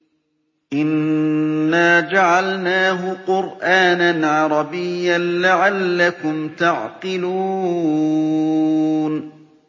إِنَّا جَعَلْنَاهُ قُرْآنًا عَرَبِيًّا لَّعَلَّكُمْ تَعْقِلُونَ